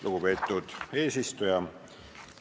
Lugupeetud eesistuja!